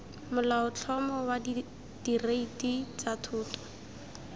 molaotlhomo wa direiti tsa thoto